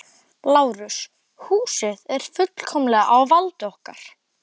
LÁRUS: Húsið er fullkomlega á valdi okkar.